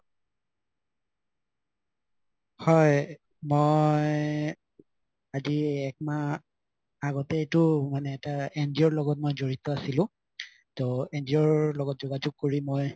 হয় মই আজি একমাহ আগতে মই এইটো মানে এটা NGO ৰ লগত মই জৰিত আছিলো ত NGO ৰ লগত যোগাযুগ কৰি মই